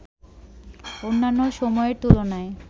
অন্যান্য সময়ের তুলনায়